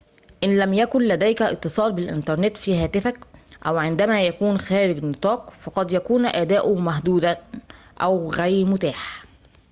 إن لم يكن لديك اتصال بالإنترنت في هاتفك أو عندما يكون خارج النطاق فقد يكون أداؤه محدوداً أو غير متاح